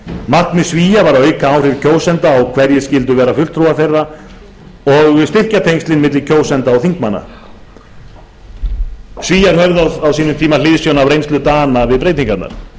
markmið svía var að auka áhrif kjósenda á hverjir skyldu vera fulltrúar þeirra og styrkja tengslin á milli kjósenda og þingmanna höfð var hliðsjón af reynslu dana við breytingarnar